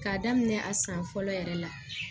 K'a daminɛ a san fɔlɔ yɛrɛ la